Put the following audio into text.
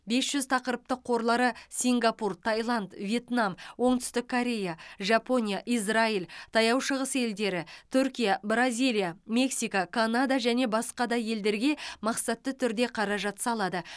бес жүз тақырыптық қорлары сингапур таиланд вьетнам оңтүстік корея жапония израиль таяу шығыс елдері түркия бразилия мексика канада және басқа да елдерге мақсатты түрде қаражат салады